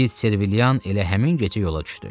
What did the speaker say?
Tit Serviliyan elə həmin gecə yola düşdü.